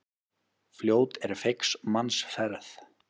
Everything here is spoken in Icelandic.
Fljót er feigs manns ferð.